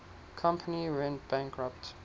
company went bankrupt